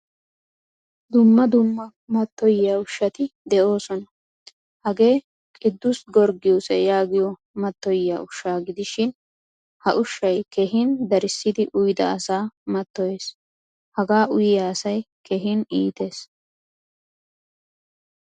Dumma dumma matoyiya ushshati deosona. Hagee kiduse giyorgisiyaa yaagiyo matoyiyaa ushshaa gidishin ha ushshay keehin darisidi uydda asa matoyees. Haga uyiya asay keehin iittees.